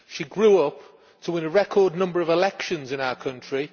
She grew up to win a record number of elections in our country